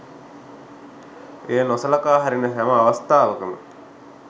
එය නොසලකා හරින හැම අවස්ථාවකම